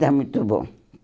Está muito bom.